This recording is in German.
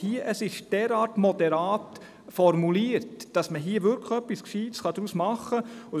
Es ist derart moderat formuliert, dass man hier etwas Gescheites daraus machen kann.